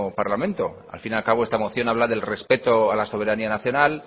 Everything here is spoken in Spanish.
parlamento al fin y al cabo esta moción habla del respeto a la soberanía nacional